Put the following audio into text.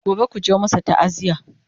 gobe kuje ku masu ta'aziya!